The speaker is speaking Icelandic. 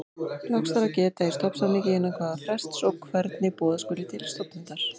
Loks þarf að geta í stofnsamningi innan hvaða frests og hvernig boða skuli til stofnfundar.